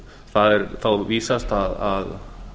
það er þá vísast að